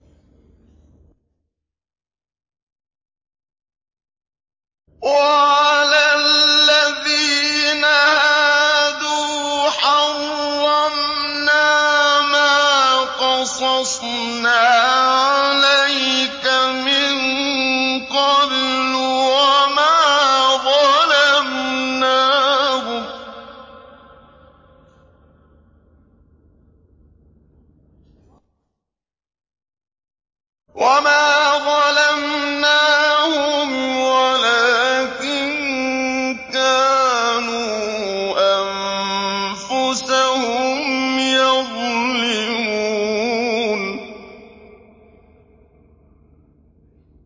وَعَلَى الَّذِينَ هَادُوا حَرَّمْنَا مَا قَصَصْنَا عَلَيْكَ مِن قَبْلُ ۖ وَمَا ظَلَمْنَاهُمْ وَلَٰكِن كَانُوا أَنفُسَهُمْ يَظْلِمُونَ